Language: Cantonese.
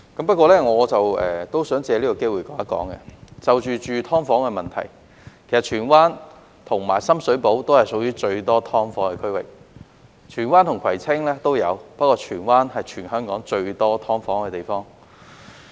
不過，我亦想藉此機會指出，就居住"劏房"的問題而言，荃灣和深水埗也是屬於最多"劏房"的區域，荃灣與葵青也有，不過荃灣是全香港最多"劏房"的地方。